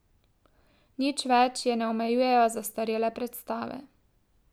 Nič več je ne omejujejo zastarele predstave.